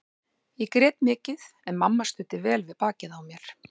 Ég grét mikið en mamma studdi vel við bakið á mér.